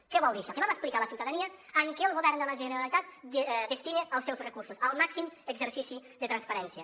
què vol dir això que vam explicar a la ciutadania en què el govern de la generalitat destina els seus recursos el màxim exercici de transparència